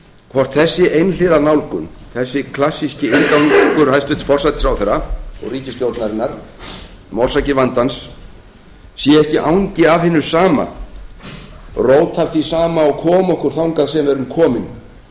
hvort þessi einhliða nálgun þessi klassíski inngangur hæstvirtur forsætisráðherra og ríkisstjórnarinnar um orsakir vandans sé ekki angi af hinu sama rót af því sama sem kom okkur þangað sem við erum komin